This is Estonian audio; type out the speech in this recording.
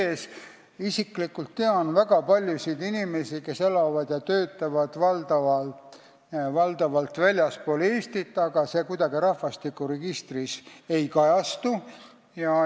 Tean isiklikult väga paljusid inimesi, kes elavad ja töötavad valdavalt väljaspool Eestit, mis kuidagi rahvastikuregistris ei kajastu.